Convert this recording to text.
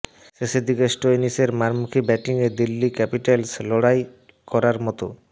শেষের দিকে স্টোয়নিসের মারমুখী ব্যাটিংয়ে দিল্লি ক্যাপিটালস লড়াই করার মতো